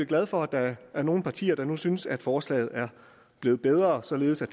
glad for at der er nogle partier der nu synes at forslaget er blevet bedre således at